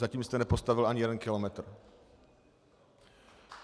Zatím jste nepostavil ani jeden kilometr.